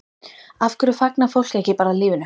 Af hverju fagnar fólk ekki bara lífinu?